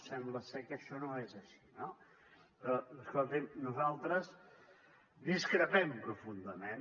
sembla ser que això no és així no escolti nosaltres discrepem profundament